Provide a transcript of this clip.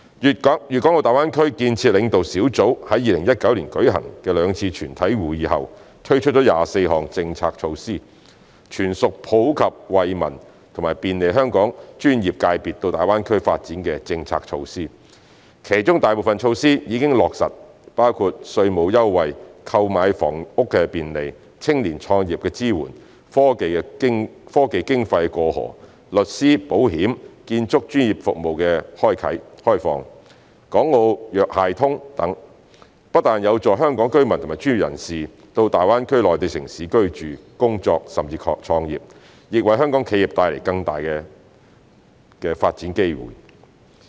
粵港澳大灣區建設領導小組於2019年舉行的兩次全體會議後，推出24項政策措施，全屬普及惠民及便利香港專業界別到大灣區發展的政策措施，其中大部分措施已經落實，包括稅務優惠、購買房屋便利、青年創業支援、科技經費"過河"、律師、保險和建築專業服務開放、"港澳藥械通"等，不但有助香港居民和專業人士到大灣區內地城市居住、工作，甚至創業，亦為香港企業帶來更大的發展機會。